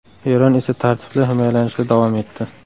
Eron esa tartibli himoyalanishda davom etdi.